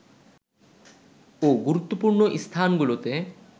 ও গুরুত্বপূর্ণ স্থানগুলোতে